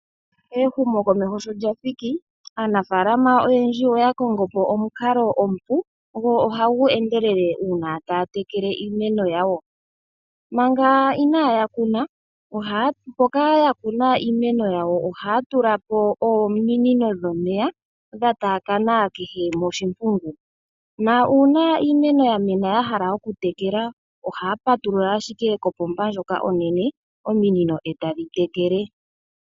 Ehumo komeho sho lyathiki aanafalama oyendji oya kongopo omukalo omupu, go oha gu endelele uuna taya tekele iimeno yayo. Mpoka yakuna iimeno yayo oha ya tulapo omunino dhomeya, dhataakana kene oshimpungu. Uuna iimeno ya mena yahala okutekala, oha ya patulula ashike kopomba ndjoka onene ominino eta dhi tekele.